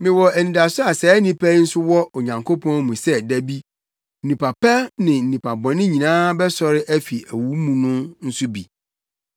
Mewɔ anidaso a saa nnipa yi nso wɔ wɔ Onyankopɔn mu sɛ da bi, nnipa pa ne nnipa bɔne nyinaa bɛsɔre afi owu mu no nso bi.